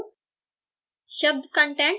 compile करती हूँ